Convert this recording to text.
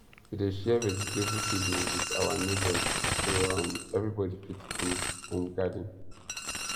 we dey share vegetable seedling with our neighbours so um everybody fit do home garden